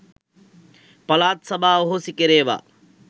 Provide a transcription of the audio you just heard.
පළාත් සභා අහෝසි කෙරේවා